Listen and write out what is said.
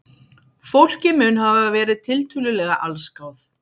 Fólkið mun hafa verið tiltölulega allsgáð